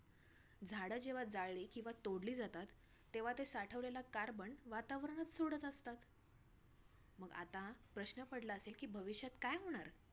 झाडं जेव्हा जाळली किंवा तोडली जातात, तेव्हा ते साठवलेला carbon वातावरणात सोडत असतात. मग आता प्रश्न पडला असेल की भविष्यात काय होणार?